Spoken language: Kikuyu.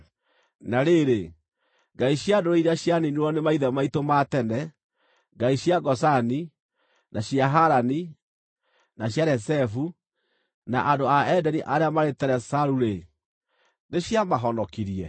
Na rĩrĩ, ngai cia ndũrĩrĩ iria cianiinirwo nĩ maithe maitũ ma tene, ngai cia Gozani, na cia Harani, na cia Rezefu, na andũ a Edeni arĩa maarĩ Telasaru-rĩ, nĩciamahonokirie?